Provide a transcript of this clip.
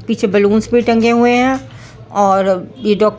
उसके सामने टेबल रखा हुआ है।